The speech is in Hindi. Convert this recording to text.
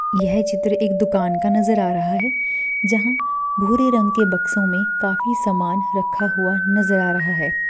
यह चित्र दुकान का नज़र आ रहा है जहां भूरे रंग के बक्सों में काफी सामान रखा हुआ नजर आ रहा हैं।